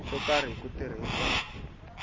swo karhi hi ku tirhisa